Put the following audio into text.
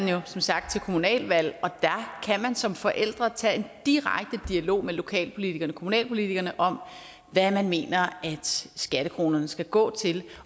jo som sagt til kommunalvalg og der kan man som forældre tage en direkte dialog med lokalpolitikerne kommunalpolitikerne om hvad man mener at skattekronerne skal gå til